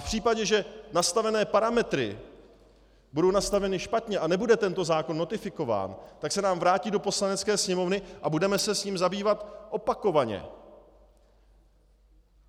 V případě, že nastavené parametry budou nastaveny špatně a nebude tento zákon notifikován, tak se nám vrátí do Poslanecké sněmovny a budeme se s ním zabývat opakovaně.